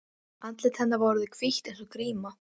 Andlit hennar var orðið hvítt eins og gríma.